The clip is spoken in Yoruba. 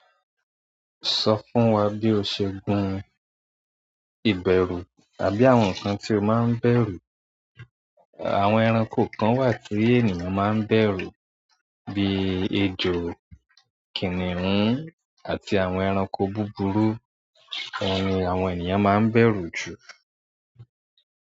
Sọ fún wa bí o ṣe ń gun ìbẹ̀rù tàbí àwọn nǹkan tí o máa ń bẹ̀rù. Àwọn ẹranko kan wà tí ènìyàn máa ń bẹ̀rù bíi ejò, kìnìún àti àwọn ẹranko búburú, oun ni àwọn ènìyàn máa ń bẹ̀rù jù.